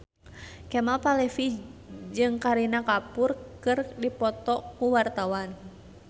Kemal Palevi jeung Kareena Kapoor keur dipoto ku wartawan